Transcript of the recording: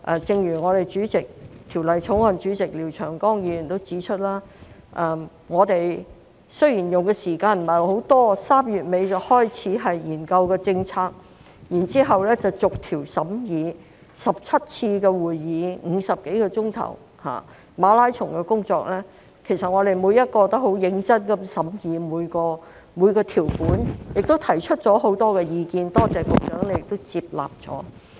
正如法案委員會主席廖長江議員指出，雖然我們用的時間不太多 ，3 月尾開始研究政策，然後逐項審議 ，17 次會議、50多小時的馬拉松工作，我們每一位也很認真的審議每項條款，提出了很多意見，多謝局長亦接納了。